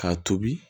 K'a tobi